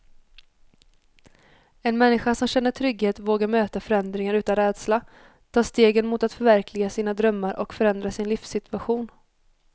En människa som känner trygghet vågar möta förändringar utan rädsla, ta stegen mot att förverkliga sina drömmar och förändra sin livssituation.